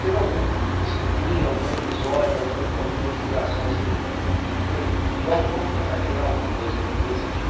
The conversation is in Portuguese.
Teve algum estopim, algum episódio, alguma alguma inspiração assim, que foi, vamos tentar criar alguma coisa, como é que foi esse dia?